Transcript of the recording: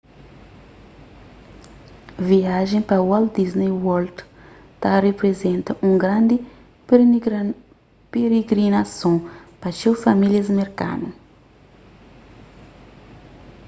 viaja pa walt disney world ta riprizenta un grandi pirigrinason pa txeu famílias merkanu